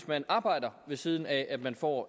man arbejder ved siden af at man får